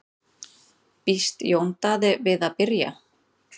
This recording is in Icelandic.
Býst Jón Daði við að byrja?